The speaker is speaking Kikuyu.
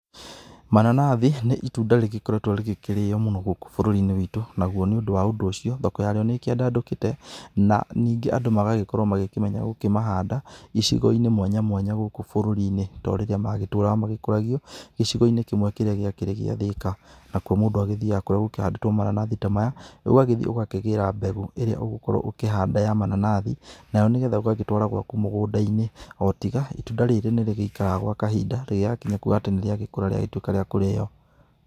Mananathi, nĩ itunda rĩgĩkoretwo rĩgĩkĩrĩo mũno gũkũ bũrũri-inĩ witũ, naguo nĩ ũndũ wa ũndũ ũcio, thoko yarĩo nĩ ĩkĩandandũkĩte na ningĩ andũ magagĩkorwo magĩkĩmenya gĩkĩmahanda icigo-inĩ mwanya mwanya gũkũ bũrũri-inĩ, to rĩrĩa magĩtũraga magĩkũragio gĩcigo-inĩ kĩmwe kĩrĩa gĩakĩrĩ gĩa Thika. Nakũo mũndũ agĩthiaga kũrĩa gũkĩhandĩtwo mananathi ta maya, ũgagĩthiĩ ũgakĩgĩra mbegũ ĩrĩa ũgũkorwo ũkĩhanda ya mananathi. Nayo nĩ getha ũgagĩtũara gwaku mũgũnda-inĩ, o tiga, itunda rĩrĩ nĩ rĩgĩikaraga gwa kahinda rĩngĩgakinya kuga atĩ nĩ rĩagĩkũra rĩagĩtuĩka rĩa kũrĩo.